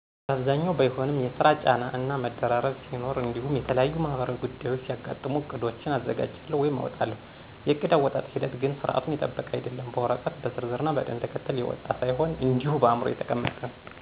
በአብዛኛው ባይሆንም የስራ ጫና እና መደራረብ ሲኖር እንዲሁም የተለያዩ ማህበራዊ ጉዳዮች ሲያጋጥሙ ዕቅዶችን አዘጋጃለሁ ወይም አወጣለሁ። የዕቅድ አወጣጠጥ ሂደት ግን ስርዓቱን የጠበቀ አይደለም፤ በወረቀት በዝርዝር ና በቅደም ተከተል የወጣ ሳይሆን እንዲሁ በአዕምሮዬ የተቀመጠ ነው።